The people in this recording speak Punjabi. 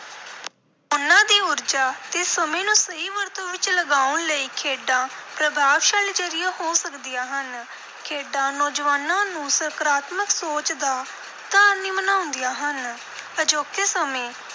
ਉਨ੍ਹਾਂ ਦੀ ਊਰਜਾ ਤੇ ਸਮੇਂ ਨੂੰ ਸਹੀ ਵਰਤੋਂ ਵਿਚ ਲਗਾਉਣ ਲਈ ਖੇਡਾਂ ਪ੍ਰਭਾਵਸ਼ਾਲੀ ਜ਼ਰੀਆ ਹੋ ਸਕਦੀਆਂ ਹਨ। ਖੇਡਾਂ ਨੌਜਵਾਨਾਂ ਨੂੰ ਸਕਾਰਾਤਮਕ ਸੋਚ ਦਾ ਧਾਰਨੀ ਬਣਾਉਂਦੀਆਂ ਹਨ। ਅਜੋਕੇ ਸਮੇਂ